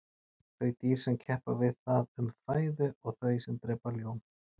þau dýr sem keppa við það um fæðu og þau sem drepa ljón